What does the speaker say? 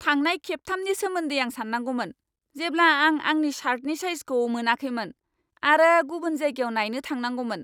थांनाय खेबथामनि सोमोन्दै आं सान्नांगौमोन, जेब्ला आं आंनि शार्टनि साइजखौ मोनाखैमोन आरो गुबुन जायगायाव नायनो थांनांगौमोन!